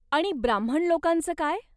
आणि ब्राम्हण लोकांच काय?